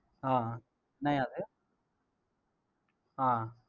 ஆஹ் அஹ் என்னய்யா அது ஆஹ்